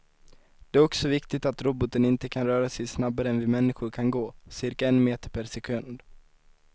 Det är också viktigt att roboten inte kan röra sig snabbare än vi människor kan gå, cirka en meter per sekund.